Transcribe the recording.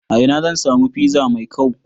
A ina zan samu fiza mai kau?